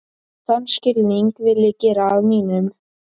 Þann skilning vil ég gera að mínum.